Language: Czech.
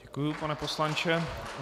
Děkuju, pane poslanče.